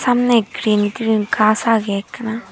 samney green green gaas agey ekkena.